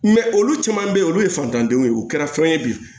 olu caman be yen olu ye fantandenw ye u kɛra fɛn ye bi